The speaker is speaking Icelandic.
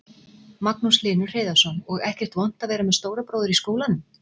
Magnús Hlynur Hreiðarsson: Og ekkert vont að vera með stóra bróður í skólanum?